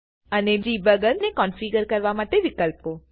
અને ડિબગર ને કોન્ફીગર કરવા માટેના વિકલ્પો